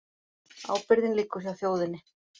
Ábyrgðin liggur hjá þjóðinni